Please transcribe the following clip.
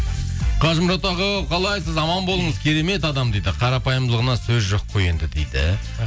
қажымұрат аға қалайсыз аман болыңыз керемет адам дейді қарапайымдылығына сөз жоқ қой енді дейді